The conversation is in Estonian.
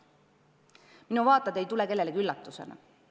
Minu vaated ei tule kellelegi üllatusena.